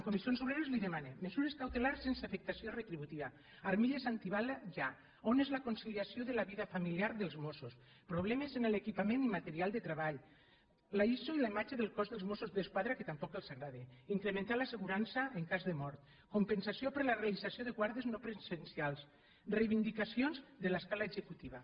comissions obreres li demana mesures cautelars sense afectació retributiva armilles antibales ja on és la conciliació de la vida familiar dels mossos problemes en l’equipament i material de tre·ball l’iso i la imatge del cos dels mossos d’esquadra que tampoc els agrada incrementar l’assegurança en cas de mort compensació per la realització de guàrdies no presencials reivindicacions de l’escala executiva